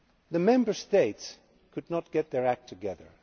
The Member States could not get their act together.